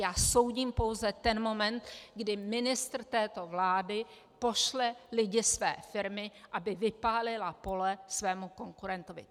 Já soudím pouze ten moment, kdy ministr této vlády pošle lidi své firmy, aby vypálila pole svému konkurentovi.